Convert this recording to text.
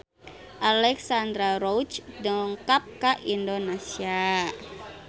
Alexandra Roach dongkap ka Indonesia